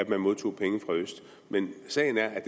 modtog penge fra øst men sagen er at